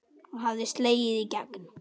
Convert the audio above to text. Hann hafði slegið í gegn.